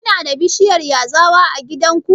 Kuna da bishiyar yazawa a gidanku?